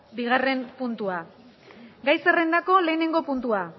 bigarrena puntua gai zerrendako lehenengo puntua